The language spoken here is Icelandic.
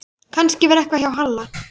Kannski var eitthvað að hjá Halla.